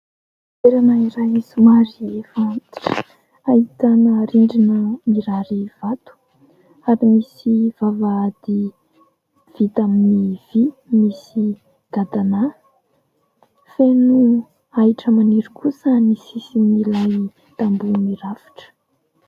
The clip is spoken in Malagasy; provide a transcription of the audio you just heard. Toerana iray somary efa antitra, ahitana rindrina mirary vato ary misy vavahady vita amin'ny vỳ misy gadanahy. Feno ahitra maniry kosa ny sisin'ilay tamboho mirafitra.